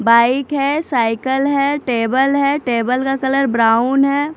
Bike है cycle है table है टेबल का कलर ब्राउन है।